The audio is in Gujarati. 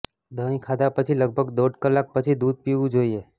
દહીં ખાધા પછી લગભગ દોઢ કલાક પછી દૂધ પીવું જોઈએ